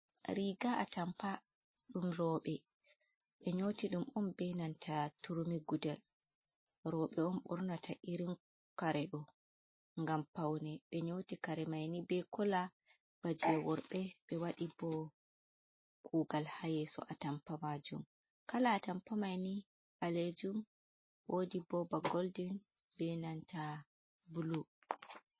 Riga a tampa ɗum robe be nyoti ɗum on be nanta turmi gudel robe on ɓornata irin kare do ngam paune ɓe nyoti kare mai ni be kola baje worbe be wadi bo kugal ha yeso a tampa majum. kala a tampa maini ɓalejum wodi bo ba goldin be nanta bulu.